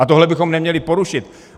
A tohle bychom neměli porušit.